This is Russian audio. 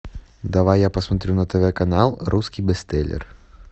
давай я посмотрю на тв канал русский бестселлер